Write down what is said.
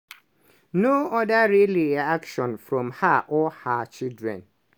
no oda real reaction from her or her children.